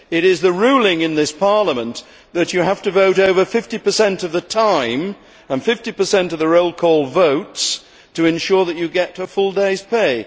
It is the ruling in this Parliament that you have to vote over 50 of the time, and 50 of the roll call votes, to ensure that you get a full day's pay.